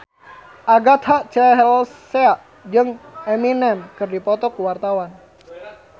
Agatha Chelsea jeung Eminem keur dipoto ku wartawan